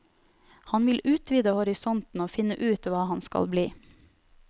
Han vil utvide horisonten og finne ut hva han skal bli.